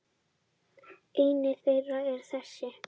Ein þeirra er þessi.